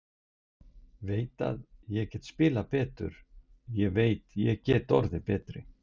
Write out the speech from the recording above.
Ég veit að ég get spilað betur, ég veit að ég get orðið betri.